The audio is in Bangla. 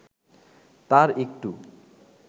তার একটু